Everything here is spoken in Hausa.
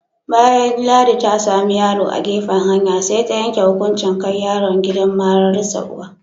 Bayan Ladi ta sami yaro a gefen hanya, sai ta yanke hukunchin kai yaron gidan mararsa uwa.